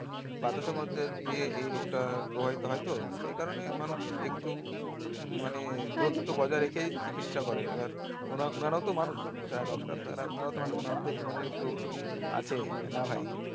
বাতাস এর মধ্যে দিয়ে এই রোগটা প্রভাবিত হয়তো সেই কারণে মানুষ একটু মানে রেখেই চিকিৎসা করে এবার োর ওনারাও তো মানুষ যারা doctor তারাও ওনারাও তো মানুষ আছে যে না ভাই